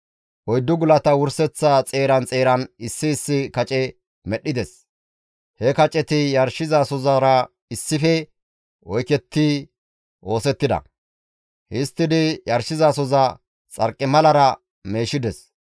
Oyddu gulata wurseththa xeeran xeeran issi issi kace medhdhides. He kaceti yarshizasozara issife oykettidi oosettida. Histtidi yarshizasoza xarqimalara meeshides.